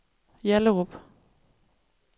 Hjallerup